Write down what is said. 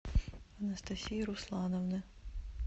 анастасии руслановны